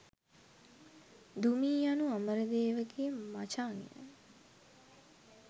දුමී යනු අමරදේව ගේ මචං ය.